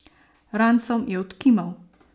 Ransom je odkimal.